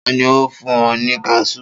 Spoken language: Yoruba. Ta ni ó fún ọ ní kaṣú?